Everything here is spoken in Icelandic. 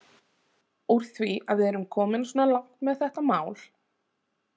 Úr því að við erum komin svona langt með þetta mál.